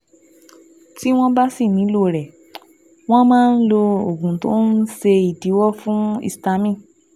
Tí wọ́n bá sì nílò rẹ̀, wọ́n máa ń lo oògùn tó ń ṣèdíwọ́ fún histamine